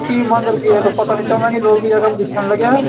की मंदिर गेट पता नी चलना की लोग भी यखम दिखेण लग्यां।